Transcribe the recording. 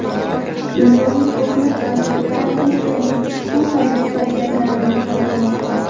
Dunyoning ko‘plab davlatlari Turkiyaning ushbu harbiy harakatlarini qoralamoqda.